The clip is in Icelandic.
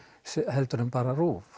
en bara RÚV